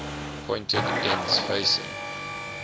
pointed ends facing